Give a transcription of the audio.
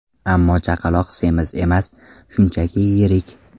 Ammo chaqaloq semiz emas, shunchaki yirik.